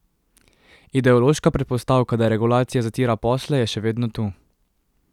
Ideološka predpostavka, da regulacija zatira posle, je še vedno tu.